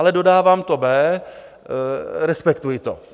Ale dodávám B, respektuji to.